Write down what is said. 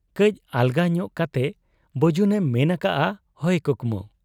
ᱠᱟᱹᱡ ᱟᱞᱜᱟ ᱧᱚᱜ ᱠᱟᱴᱮ ᱵᱟᱹᱡᱩᱱᱮ ᱢᱮᱱ ᱟᱠᱟᱜ ᱟ, 'ᱦᱚᱭ ᱠᱩᱠᱢᱩ ᱾'